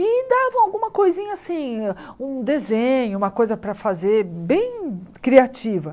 E davam alguma coisinha assim, um desenho, uma coisa para fazer bem criativa.